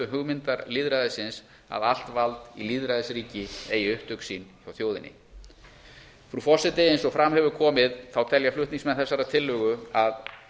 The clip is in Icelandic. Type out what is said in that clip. hugmyndar lýðræðisins að allt vald í lýðræðisríki eigi upptök sín hjá þjóðinni frú forseti eins og fram hefur komið telja flutningsmenn þessarar tillögu að